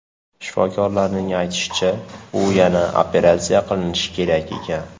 Shifokorlarning aytishicha, u yana operatsiya qilinishi kerak ekan.